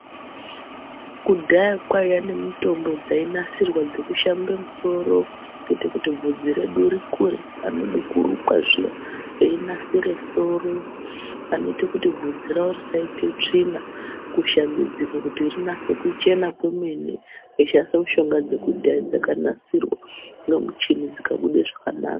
Kudhaya kwaiya nemitombo dzainasirwa dzekushamba musoro nekuti bvudzi redu rikure anode kurukwa zviya einasire soro ,anoite kuti bvudzi ravo risaite tsvina kushambidzika kuti rinatse kuchena kwemene veishandisa mishonga yekudhaya yakanatsirwa nemichini dzikabude zvakanaka.